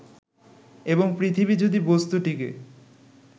এবং পৃথিবী যদি বস্তুটিকে